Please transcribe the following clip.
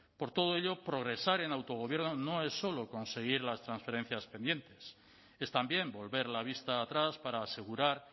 por todo ello progresar en autogobierno no es solo conseguir las transferencias pendientes es también volver la vista atrás para asegurar